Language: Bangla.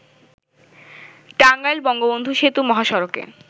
টাঙ্গাইল-বঙ্গবন্ধু সেতু মহাসড়কে